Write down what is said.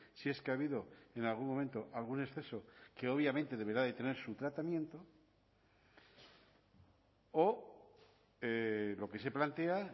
si es que ha habido en algún momento algún exceso que obviamente deberá de tener su tratamiento o lo que se plantea